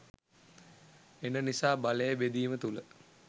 එන නිසා බලය බෙදීම තුල